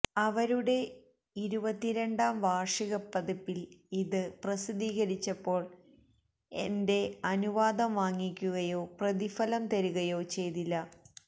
അവരുടെ ഇരുപത്തിരണ്ടാം വാർഷികപ്പതിപ്പിൽ ഇത് പ്രസിദ്ധീകരിച്ചപ്പോൾ എന്റെ അനുവാദം വാങ്ങിക്കുകയോ പ്രതിഫലം തരികയോ ചെയ്തില്ല